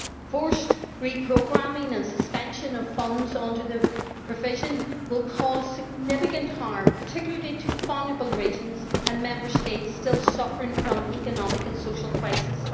Forced re programming and suspension of funds under the provision will cause significant harm, particularly to vulnerable regions and Member States still suffering from the economic and social crisis.